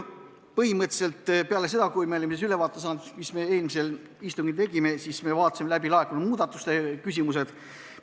Peale seda, kui me olime saanud ülevaate, mis me eelmisel istungil tegime, me vaatasime läbi laekunud muudatusettepanekud.